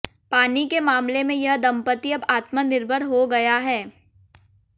पानी के मामले में यह दंपति अब आत्मनिर्भर हो गया है